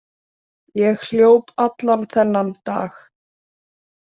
Ég hljóp allan þennan dag.